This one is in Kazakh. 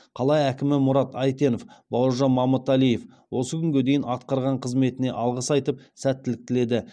қала әкімі мұрат әйтенов бауыржан мамыталиев осы күнге дейін атқарған қызметіне алғыс айтып сәттілік тіледі